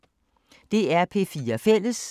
DR P4 Fælles